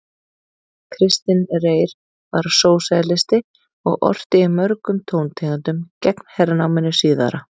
Kristinn Reyr var sósíalisti og orti í mörgum tóntegundum gegn hernáminu síðara.